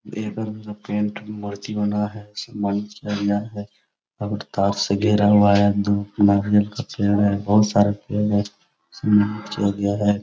में मूर्ति बना है मंच और तार से घेरा हुआ है दू गो नारियल का पेड़ है बहुत सारा पेड़ है किया गया है।